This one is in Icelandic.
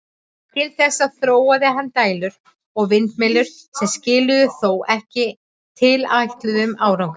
Til þess þróaði hann dælur og vindmyllur, sem skiluðu þó ekki tilætluðum árangri.